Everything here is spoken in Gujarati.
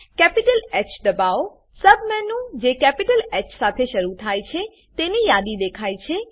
કેપિટલ હ દબાઓસૂબ મેનુ જે કેપિટલ હ સાથે શરુ થાય છે તેની યાદી દેખાય છે